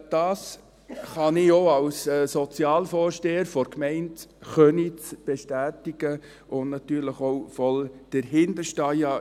Das kann ich auch als Sozialvorsteher der Gemeinde Köniz bestätigen und natürlich auch voll dahinterstehen.